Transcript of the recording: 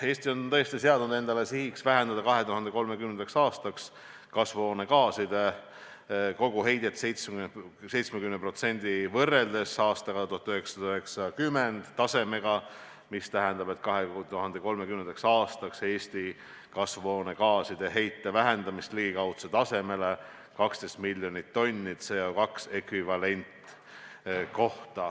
" Eesti on seadnud endale sihiks vähendada 2030. aastaks kasvuhoonegaaside koguheidet 70% võrreldes 1990. aasta tasemega, mis tähendab 2030. aastaks Eesti kasvuhoonegaaside heite vähendamist ligikaudu 12 miljoni tonni CO2 ekvivalendini.